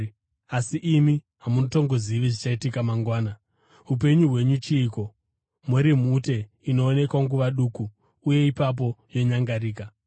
Asi, imi hamutongozivi zvichaitika mangwana. Upenyu hwenyu chiiko? Muri mhute inoonekwa nguva duku uye ipapo yonyangarika.